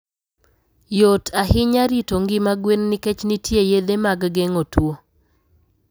Yot ahinya rito ngima gwen nikech nitie yedhe mag geng'o tuwo.